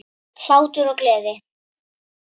Hlátur og gleði.